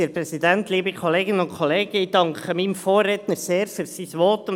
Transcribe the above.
Ich danke meinem Vorredner sehr für sein Votum.